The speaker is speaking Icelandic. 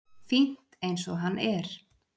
Fínt eins og hann er.